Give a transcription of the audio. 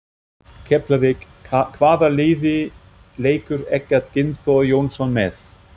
Keflavík Hvaða liði leikur Eggert Gunnþór Jónsson með?